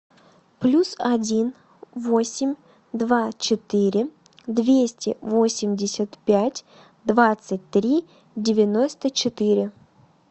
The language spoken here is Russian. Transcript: плюс один восемь два четыре двести восемьдесят пять двадцать три девяносто четыре